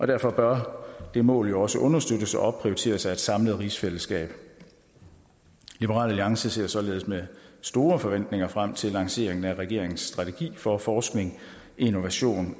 derfor bør det mål jo også understøttes og opprioriteres af et samlet rigsfællesskab liberal alliance ser således med store forventninger frem til lanceringen af regeringens strategi for forskning innovation